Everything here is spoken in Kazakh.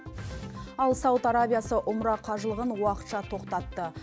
ал сауд арабиясы умра қажылығын уақытша тоқтатты